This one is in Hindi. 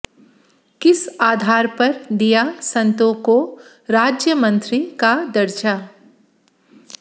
किस आधार पर दिया संतों को राज्यमंत्री का दर्जा